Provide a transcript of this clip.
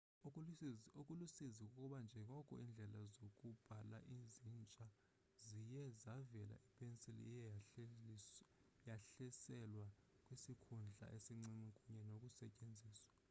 okulusizi kukuba njengoko iindlela zokubhala zintsha ziye zavela ipensile iye yehliselwa kwisikhundla esincinci kunye nokusetyenziswa